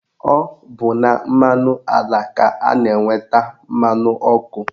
Ọ bụ na mmanụ ala ka a na-enweta mmanụ ọkụ